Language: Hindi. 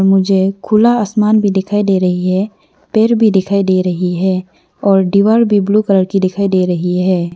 मुझे खुला आसमान भी दिखाई दे रही है पेड़ भी दिखाई दे रही है और दीवार भी ब्लू कलर की दिखाई दे रही है।